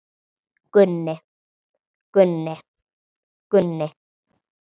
Gunni, Gunni, Gunni.